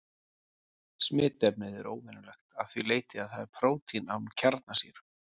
Smitefnið er óvenjulegt að því leyti að það er prótín án kjarnasýru.